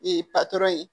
Ee patɔrɔn ye